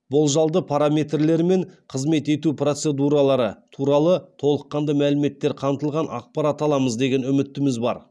болжалды параметрлері мен қызмет ету процедуралары туралы толыққанды мәліметтер қамтылған ақпарат аламыз деген үмітіміз бар